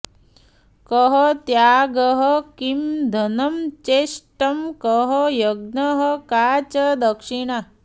कः त्यागः किं धनं चेष्टं कः यज्ञः का च दक्षिणा